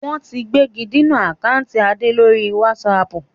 Wọ́n ti gbégidinà àkántì Adé lórí wásààpù